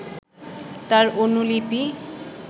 তার অনুলিপি